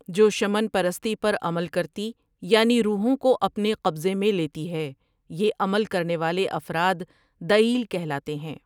جو شمن پرستی پر عمل کرتی یعنی روحوں کو اپنے قبضے میں لیتی ہے یہ عمل کرنے والے افراد دئیل کہلاتے ہیں ۔